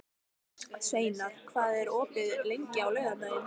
Sveinar, hvað er opið lengi á laugardaginn?